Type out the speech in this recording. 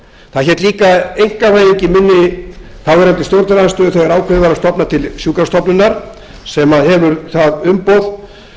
það hét líka einkavæðing í munni þáverandi stjórnarandstöðu þegar ákveðið var að stofna til sjúkrastofnunar sem hefur það umboð